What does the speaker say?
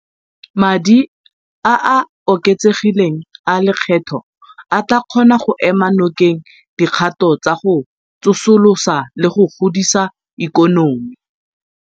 Madi a a oketsegileng a lekgetho a tla kgona go ema nokeng dikgato tsa go tsosolosa le go godisa ikonomi.